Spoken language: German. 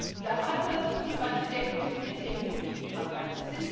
Und da hat man das Gefühl, manche denken, wir sind jetzt immun gegen Krankheiten.